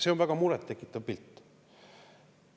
See on väga muret tekitav pilt.